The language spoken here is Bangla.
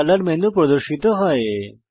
একটি কলর মেনু প্রদর্শিত হয়